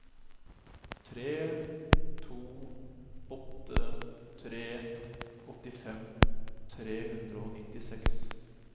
tre to åtte tre åttifem tre hundre og nittiseks